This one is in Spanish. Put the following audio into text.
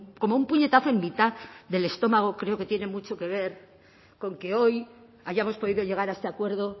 como un puñetazo en mitad del estómago creo que tiene mucho que ver con que hoy hayamos podido llegar a este acuerdo